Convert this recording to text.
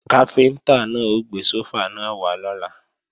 Káfíntá náà ó gbé sófà náà wá lọ́la